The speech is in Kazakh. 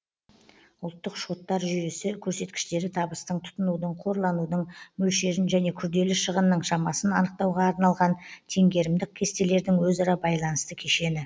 ұлттық шоттар жүйесі көрсеткіштері табыстың тұтынудың қорланудың мөлшерін және күрделі шығынның шамасын анықтауға арналған теңгерімдік кестелердің өзара байланысты кешені